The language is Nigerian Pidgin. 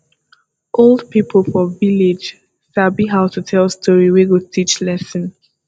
old pipo for village sabi how to tell story wey go teach lesson